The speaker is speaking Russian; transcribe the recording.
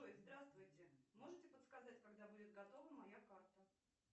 здравствуйте можете подсказать когда будет готова моя карта